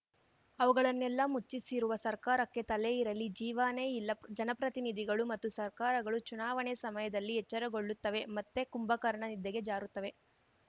ಅವುಗಳನ್ನೆಲ್ಲಾ ಮುಚ್ಚಿಸಿರುವ ಸರ್ಕಾರಕ್ಕೆ ತಲೆ ಇರಲಿ ಜೀವಾನೆ ಇಲ್ಲ ಜನಪ್ರತಿನಿಧಿಗಳು ಮತ್ತು ಸರ್ಕಾರಗಳು ಚುನಾವಣೆ ಸಮಯದಲ್ಲಿ ಎಚ್ಚರಗೊಳ್ಳುತ್ತವೆ ಮತ್ತೆ ಕುಂಭಕರ್ಣ ನಿದ್ದೆಗೆ ಜಾರುತ್ತವೆ